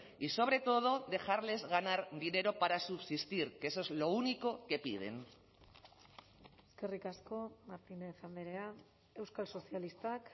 y sobre todo dejarles ganar dinero para subsistir que eso es lo único que piden eskerrik asko martínez andrea euskal sozialistak